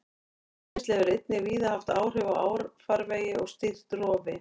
Hraunrennsli hefur einnig víða haft áhrif á árfarvegi og stýrt rofi.